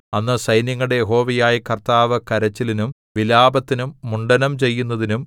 അന്ന് സൈന്യങ്ങളുടെ യഹോവയായ കർത്താവ് കരച്ചിലിനും വിലാപത്തിനും മുണ്ഡനം ചെയ്യുന്നതിനും